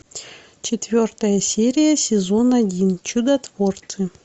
четвертая серия сезон один чудотворцы